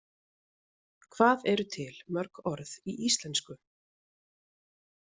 Hvað eru til mörg orð í íslensku?